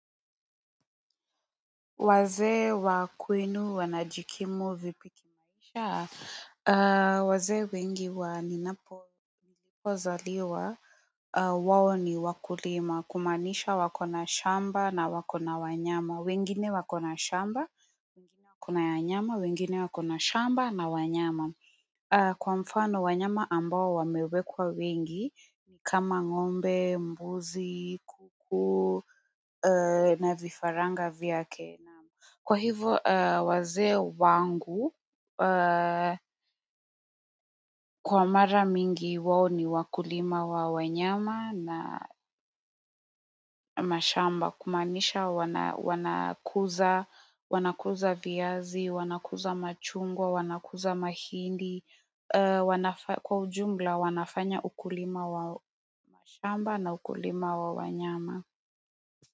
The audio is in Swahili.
Wazee wa kwenu wanajikimu vipi kimaisha? Wazee wengi wa ninapokozaliwa wao ni wakulima kumaanisha wako na shamba na wako na wanyama, wengine wako na shamba, wengine wako na wanyama na wengine wako na shamba na wanyama. Kwa mfano, wanyama ambao wamewekwa wengi ni kama ngombe, mbuzi, kuku, na vifaranga vyake naam. Kwa hivo wazee wangu kwa mara mingi wao ni wakulima wa wanyama na mashamba kumaanisha wanakuza viazi wanakuza machungwa wanakuza mahindi kwa ujumla wanafanya ukulima wa shamba na ukulima wa wanyama.